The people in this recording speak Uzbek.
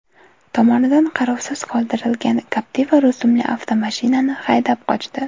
tomonidan qarovsiz qoldirilgan Captiva rusumli avtomashinani haydab qochdi.